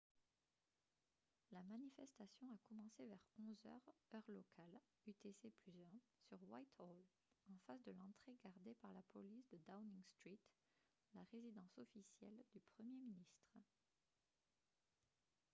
la manifestation a commencé vers 11 h heure locale utc+1 sur whitehall en face de l'entrée gardée par la police de downing street la résidence officielle du premier ministre